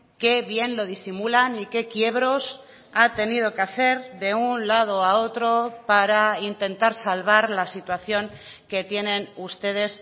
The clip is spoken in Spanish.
qué bien lo disimulan y qué quiebros ha tenido que hacer de un lado a otro para intentar salvar la situación que tienen ustedes